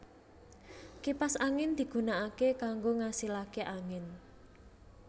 Kipas angin digunakake kanggo ngasilake angin